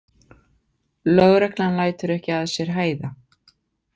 Lögreglan lætur ekki að sér hæða.